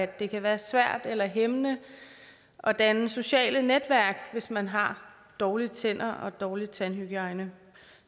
det kan være svært eller hæmmende af danne sociale netværk hvis man har dårlige tænder og dårlig tandhygiejne